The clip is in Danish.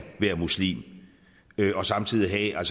være muslimer og samtidig have